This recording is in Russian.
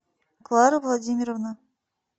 клара владимировна